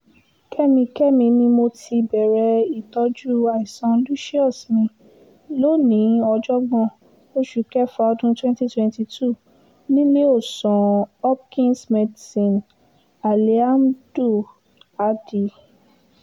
kẹ́mi kẹ́mi ni mo ti bẹ̀rẹ̀ ìtọ́jú àìsàn lucius mi lónìí ògbóǹjọ oṣù kéfà ọdún twenty twenty two níléèọ̀sán hopkins medicine aliamduhádì